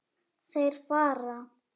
Þeir fara.